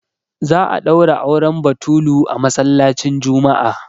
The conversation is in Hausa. za a daura auren batulu a masallacin Juma'a